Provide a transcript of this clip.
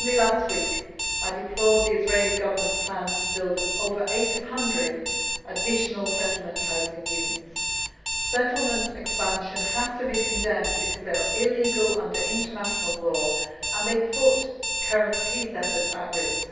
Only last week I deplored the Israeli Government's plans to build over 800 additional settlement housing units. Settlement expansion has to be condemned because these are illegal under international law and put current peace efforts at